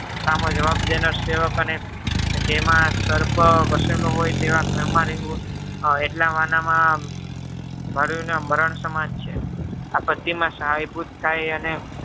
સામો જવાબ દેનાર સેવકોને જેમાં સર્પ વસેલો હોય તેવા ઘરમાં રેહવું એટલા વાનામાં મરણ સમાજ છે. આપત્તિમાં સહાયભૂત થાય અને